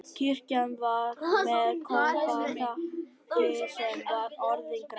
Kirkjan var með koparþaki sem var orðið grænt.